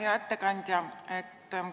Hea ettekandja!